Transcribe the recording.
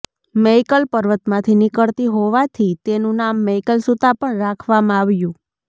મૈકલ પર્વતમાંથી નીકળતી હોવાથી તેનું નામ મૈકલ સુતા પણ રાખવામાં આવ્યું